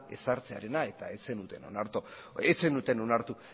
ezartzearena eta ez zenuten onartu